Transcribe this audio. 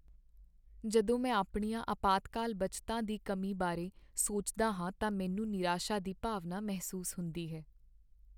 ਜਦੋਂ ਮੈਂ ਆਪਣੀਆਂ ਅਪਾਤਕਾਲ ਬੱਚਤਾਂ ਦੀ ਕਮੀ ਬਾਰੇ ਸੋਚਦਾ ਹਾਂ ਤਾਂ ਮੈਨੂੰ ਨਿਰਾਸ਼ਾ ਦੀ ਭਾਵਨਾ ਮਹਿਸੂਸ ਹੁੰਦੀ ਹੈ।